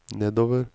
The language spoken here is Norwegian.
nedover